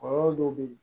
Kɔlɔlɔ dɔw bɛ ye